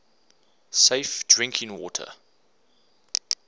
safe drinking water